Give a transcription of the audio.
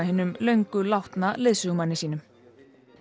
hinum löngu látna leiðsögumanni sínum